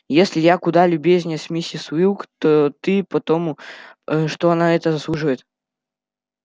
если я куда любезнее с миссис уилк то ты потом что она этого заслуживает